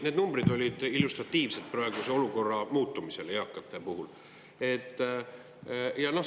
Need numbrid olid illustratiivsed praeguse olukorra eakate puhul.